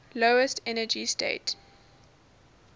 lowest energy state